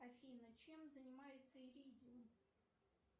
афина чем занимается иридиум